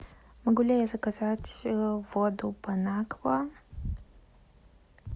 могу ли я заказать воду бонаква